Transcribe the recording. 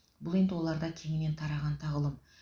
бұл енді оларда кеңінен тараған тағлым